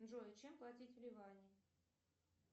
джой чем платить в ливане